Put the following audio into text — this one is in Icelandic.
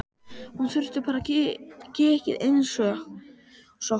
Hún þurfti bara kikkið einsog Lúna.